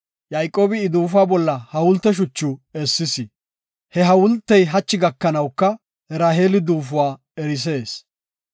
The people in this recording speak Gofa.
Yayqoobi I duufuwa bolla hawulte shucha essis. He hawultey hachu gakanawuka Raheeli duufuwa erisees.